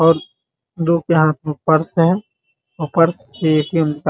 और दो के हाथ में पर्स है और पर्स से ए.टी.एम. कार्ड --